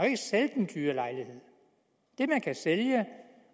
ikke sælge den dyre lejlighed det man kan sælge